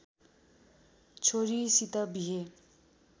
छोरीसित बिहे